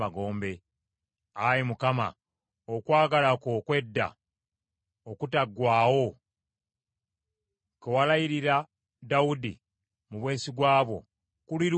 Ayi Mukama, okwagala kwo okw’edda okutaggwaawo, kwe walayirira Dawudi mu bwesigwa bwo, kuli luuyi wa?